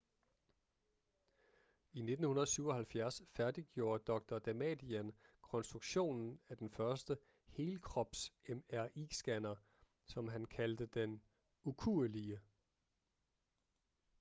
i 1977 færdiggjorde dr damadian konstruktionen af den første helkrops mri-scanner som han kaldte den ukuelige